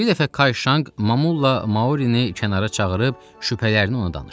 Bir dəfə Kayşanq Mamulla Maurini kənara çağırıb şübhələrini ona danışdı.